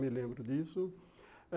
Me lembro disso.